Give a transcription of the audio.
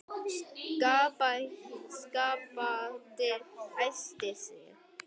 Skapti æsti sig.